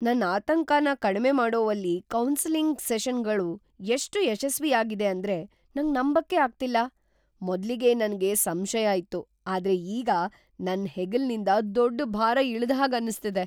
ನನ್ ಆತಂಕನ ಕಡ್ಮೆ ಮಾಡೋವಲ್ಲಿ ಕೌನ್ಸೆಲಿಂಗ್ ಸೆಷನ್ಗಳು ಎಷ್ಟು ಯಶಸ್ವಿಯಾಗಿದೆ ಅಂದ್ರೆ ನಂಗ್ ನಂಬಕ್ಕೆ ಆಗ್ತಿಲ್ಲ. ಮೊದ್ಲಿಗೆ ನನ್ಗೆ ಸಂಶಯ ಇತ್ತು, ಆದ್ರೆ ಈಗ ನನ್ ಹೆಗಲಿನಿಂದ್ ದೊಡ್ ಭಾರ ಇಳ್ದ ಹಾಗೆ ಅನಿಸ್ತಿದೆ.